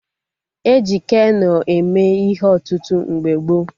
E ji Keno eme ihe ọtụtụ mgbe gboo